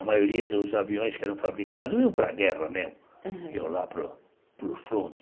A maioria dos aviões que eram fabricados iam para a guerra mesmo, iam lá para o para o fronte.